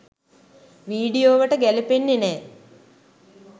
වීඩියෝවට ගැලපෙන්නෙ නෑ.